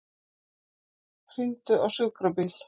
Hringdu á sjúkrabíl.